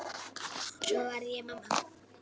Svo varð ég mamma.